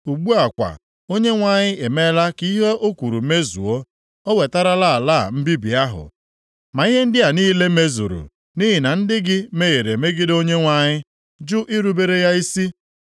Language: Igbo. Ugbu a kwa Onyenwe anyị emeela ka ihe o kwuru mezuo. O wetarala ala a mbibi ahụ. Ma ihe ndị a niile mezuru nʼihi na ndị gị mehiere megide Onyenwe anyị, jụ irubere ya isi.